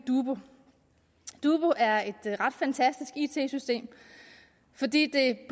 dubu dubu er et ret fantastisk it system fordi det